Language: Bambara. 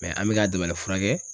an mɛ k'a dabalifura kɛ.